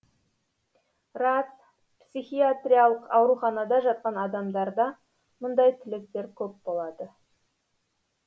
рас психиатриялық ауруханада жатқан адамдарда мұндай тілектер көп болады